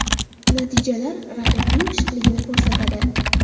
Natijalar raqibning pishiqligini ko‘rsatadi.